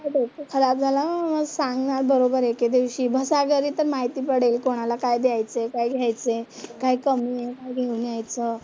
डोकं खराब झालं ना सांगणार बरोबर एकेदिवशी, बसा घरी तर माहिती पडेल कोणाला काय द्यायचंय, काय घ्यायचंय, काय कमी आहे, काय घेऊन यायचं?